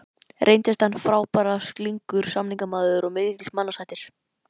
Reyndist hann frábærlega slyngur samningamaður og mikill mannasættir.